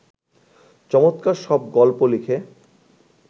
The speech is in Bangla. চমৎকার সব গল্প লিখে